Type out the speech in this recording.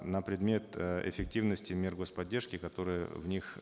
на предмет э эффективности мер гос поддержки которые в них